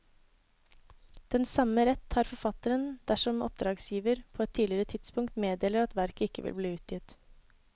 Den samme rett har forfatteren dersom oppdragsgiver på et tidligere tidspunkt meddeler at verket ikke vil bli utgitt.